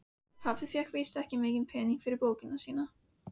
Pabbi fékk víst ekki mikla peninga fyrir bókina sína.